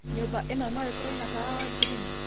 nyūmba īno no īkorwo na tawa wa ngirini